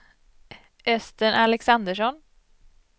Östen Alexandersson